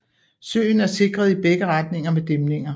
Søen er sikret i begge retninger med dæmninger